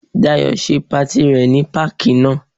Dayọ̀ ṣe patí rẹ ní páàkì náà.